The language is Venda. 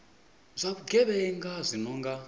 zwa vhugevhenga zwi no nga